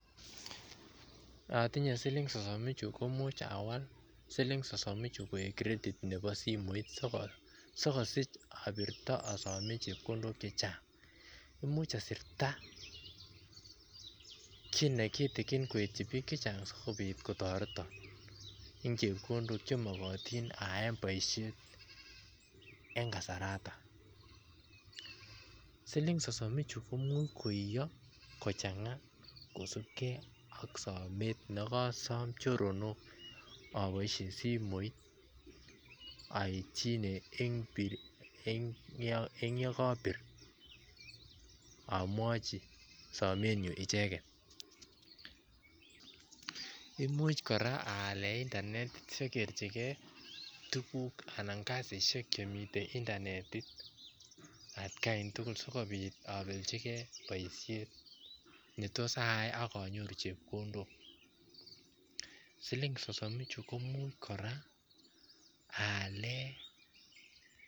Atinyei siling sosom ichuut komuuch awal siling sosom ichuu koek credit nebo simoit sikosiich abirto si asoom chepkondook che chaang imuuch asirta kiiy nekitikiin koityi biik che chaang sikomuuch kotaretaan eng chepkondook che magatiin ayaen boisiet eng kasaratoon siling sosom ichuu komuuch koia kosupkei ak sameet nekasaam choronok eng ye kabiir amwachi samet nyuun ichegeet imuuch kora aleen [internet] sakerjigei tuguuk anan kasisiek che Mii internet at kaan tugul sikobiit abeljigei boisiet ne tos ayai ak anyoruu chepkondook siling sosom ichuu komuuch kora aaleen.